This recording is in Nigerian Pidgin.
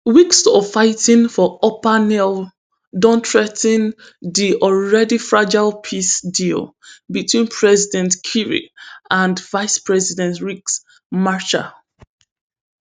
weeks of fighting for upper nile don threa ten di already fragile peace deal between president kiri and vice president ricks marshall